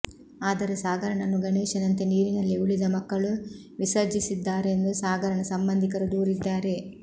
ಆದರೆ ಸಾಗರನನ್ನು ಗಣೇಶನಂತೆ ನೀರಿನಲ್ಲಿ ಉಳಿದ ಮಕ್ಕಳು ವಿಸರ್ಜಿಸಿದ್ದಾರೆಂದು ಸಾಗರನ ಸಂಬಂಧಿಕರು ದೂರಿದ್ದಾರೆ